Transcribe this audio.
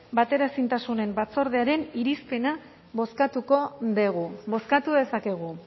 bateraezintasunen batzordearen irizpena bozkatuko dugu bozkatu dezakegu